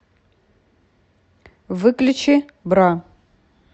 выключи бра